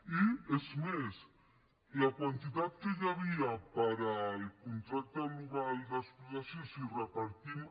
i és més la quantitat que hi havia per al contracte global d’explotació si repartim